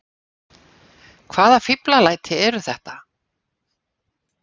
Hvaða fíflalæti eru þetta!